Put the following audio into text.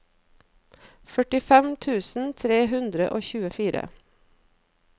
førtifem tusen tre hundre og tjuefire